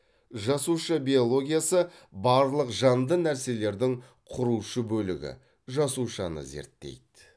жасуша биологиясы барлық жанды нәрселердің құрушы бөлігі жасушаны зерттейді